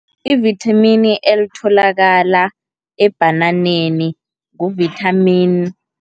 I-vithamini elitholakala ebhananeni ngu-vitamin